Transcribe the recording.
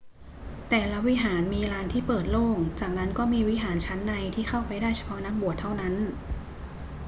แต่ละวิหารมีลานที่เปิดโล่ง จากนั้นก็มีวิหารชั้นในที่เข้าไปได้เฉพาะนักบวชเท่านั้น